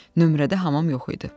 Nömrədə hamam yox idi.